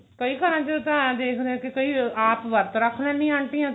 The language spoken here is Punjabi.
ਕਈ ਘਰਾਂ ਚ ਤਾਂ ਦੇਖਦੇ ਕਿ ਕਈ ਆਪ ਵਰਤ ਰੱਖ ਲੈਂਦੀਆਂ